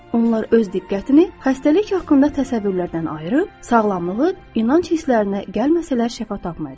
Onlar öz diqqətini xəstəlik haqqında təsəvvürlərdən ayırıb, sağlamlığı inanc hisslərinə gəlməsələr şəfa tapmayacaqlar.